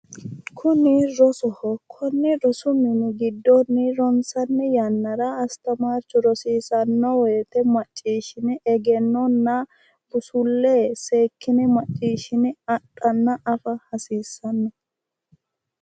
Kuni rosoho, Kone rosu min gidoni ronsani yanara astamarchu rosiisano woyite maciishine egenona bussule seekine maciishine adhana afa hasiissanno